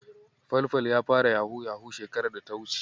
Falfal ya fara yahu-yahu shekarar da ta wuce.